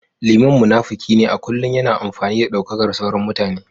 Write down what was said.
Liman munafiki ne a kullum yana amfani da daukakar sauran mutane